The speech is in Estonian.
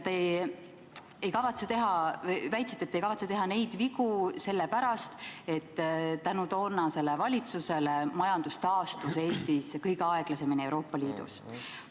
Te väitsite, et te ei kavatse teha neid vigu, sellepärast et toonase valitsuse tõttu majandus taastus Eestis kõige aeglasemini Euroopa Liidus.